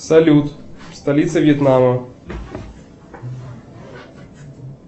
салют столица вьетнама